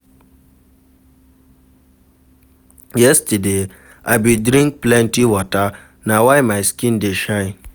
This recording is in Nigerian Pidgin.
Yesterday, I bin drink plenty water, na why my skin dey shine.